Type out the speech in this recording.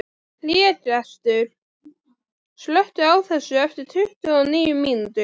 Hlégestur, slökktu á þessu eftir tuttugu og níu mínútur.